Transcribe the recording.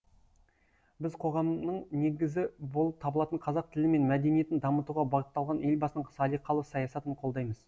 біз қоғамның негізі болып табылатын қазақ тілі мен мәдениетін дамытуға бағытталған елбасының салиқалы саясатын қолдаймыз